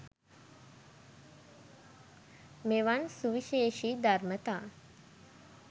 මෙවන් සුවිශේෂී ධර්මතා